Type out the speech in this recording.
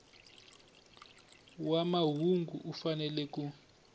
wa mahungu u fanele ku